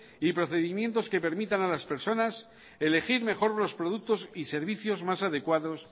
y procedimientos que permitan a las personas elegir mejor los productos y servicios más adecuados